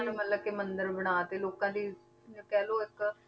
ਮਤਲਬ ਕਿ ਮੰਦਿਰ ਬਣਾ ਦਿੱਤੇ ਲੋਕਾਂ ਦੀ ਜਾਂ ਕਹਿ ਲਓ ਇੱਕ